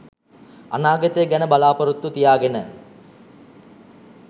අනාගතය ගැන බලා‍පොරොත්තු තියාගෙන